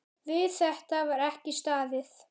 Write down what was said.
Við þetta var ekki staðið.